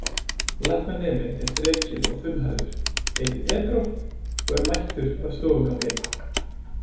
Læknaneminn er þrekinn og þunnhærður, heitir Pedro og er mættur á stofugang, einn.